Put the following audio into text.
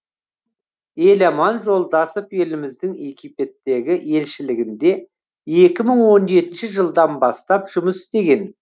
еламан жолдасов еліміздің египеттегі елшілігінде екі мың он жетінші жылдан бастап жұмыс істеген